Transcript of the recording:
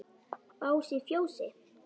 Bás í fjósi?